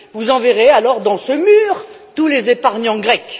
Vous enverrez alors dans ce mur tous les épargnants